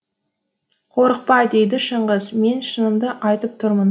қорықпа дейді шыңғыс мен шынымды айтып тұрмын